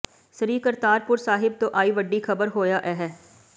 ਸ੍ਰੀ ਕਰਤਾਰਪੁਰ ਸਾਹਿਬ ਤੋਂ ਆਈ ਵੱਡੀ ਖਬਰ ਹੋਇਆ ਇਹ